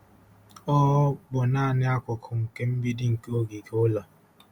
Ọ bụ naanị akụkụ nke mgbidi nke ogige ụlọ.